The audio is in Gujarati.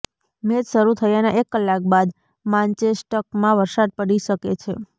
મેચ શરૂ થયાના એક કલાક બાદ માન્ચેસ્ટકમાં વરસાદ પડી શકે છે